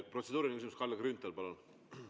Protseduuriline küsimus, Kalle Grünthal, palun!